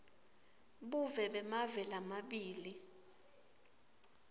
buve bemave lamabili